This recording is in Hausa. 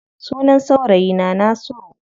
Sunan saurayi na Nasiru.